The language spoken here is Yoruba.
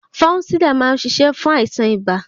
Fánsídà má ń ṣiṣẹ́ fún àìsàn ibà.